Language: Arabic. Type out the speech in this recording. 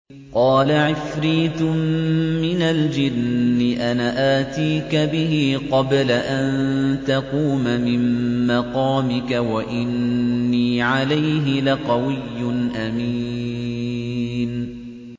قَالَ عِفْرِيتٌ مِّنَ الْجِنِّ أَنَا آتِيكَ بِهِ قَبْلَ أَن تَقُومَ مِن مَّقَامِكَ ۖ وَإِنِّي عَلَيْهِ لَقَوِيٌّ أَمِينٌ